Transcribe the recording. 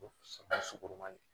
sukoro man di